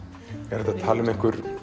er hægt að tala um